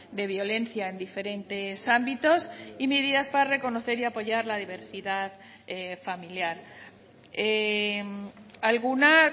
de violencia en diferentes ámbitos y medidas para reconocer y apoyar la diversidad familiar alguna